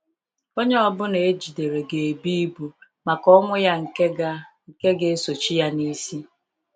Onye ọbụla ejidere ga ebu ibu maka ọnwụ ya nke ga nke ga esochi ya n'isi